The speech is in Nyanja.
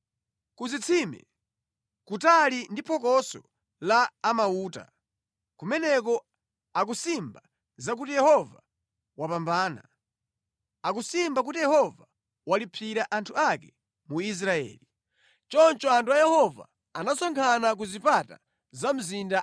Ku zitsime, kutali ndi phokoso la a mauta; kumeneko akusimba za kuti Yehova wapambana; akusimba kuti Yehova walipsira anthu ake mu Israeli. “Choncho anthu a Yehova anasonkhana ku zipata za mzinda.